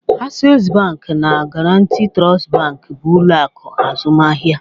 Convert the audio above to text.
Access Bank na Guaranty Trust Bank bụ ụlọ akụ azụmaahịa